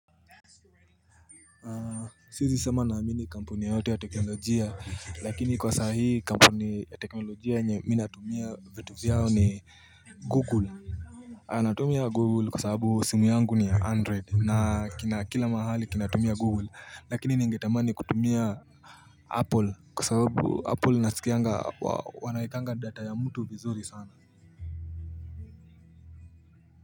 Siwezi sema naamini kampuni yoyote ya teknolojia lakini kwa saa hii kampuni ya teknolojia yenye mi natumia vitu vyao ni Google. Natumia google kwa sababu simu yangu ni android na kila mahali kinatumia google lakini ningetamani kutumia apple kwa sababu apple nasikianga wanaekanga data ya mtu vizuri sana.